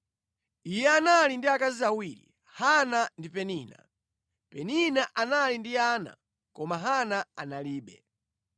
Iye anali ndi akazi awiri, Hana ndi Penina. Penina anali ndi ana, koma Hana analibe.